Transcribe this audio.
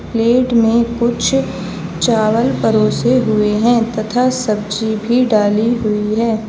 Plate में कुछ चावल परोसे हुए हैं तथा सब्जी भी डाली हुई है।